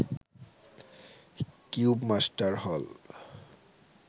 cubemaster হল